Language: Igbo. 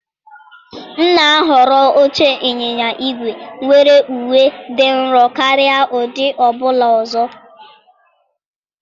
M na-ahọrọ oche ịnyịnya ígwè nwere uwe dị nro karịa ụdị ọ bụla ọzọ.